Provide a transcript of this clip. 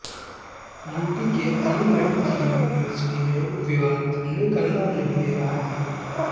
UP के Aligarh Muslim university में विवाद थमने का नाम नहीं ले रहा है